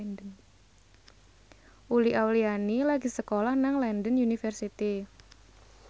Uli Auliani lagi sekolah nang London University